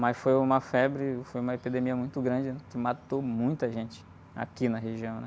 Mas foi uma febre, foi uma epidemia muito grande que matou muita gente aqui na região, né?